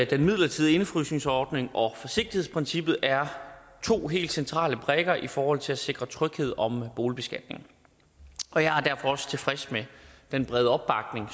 den midlertidige indefrysningsordning og forsigtighedsprincippet er to helt centrale brikker i forhold til at sikre tryghed om boligbeskatningen og jeg er derfor også tilfreds med den brede opbakning